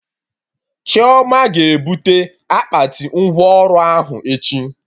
Chioma ga ebute akpati ngwa ọrụ ahụ echi